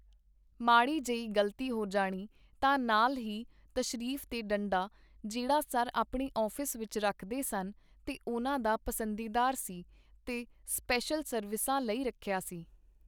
ਮਾੜੀ ਜਈ ਗ਼ਲਤੀ ਹੋ ਜਾਣੀ ਤਾਂ ਨਾਲ ਹੀ ਤਸ਼ਰੀਫ਼ ਤੇ ਡੰਡਾ ਜਿਹੜਾ ਸਰ ਆਪਣੇ ਆਫ਼ਿਸ ਵਿੱਚ ਰੱਖਦੇ ਸਨ ਤੇ ਉਹਨਾਂ ਦਾ ਪਸੰਦੀਦਾਰ ਸੀ ਤੇ ਸਪੇਸ਼ਲ ਸਰਵਿਸਾ ਲਈ ਰੱਖਿਆ ਸੀ.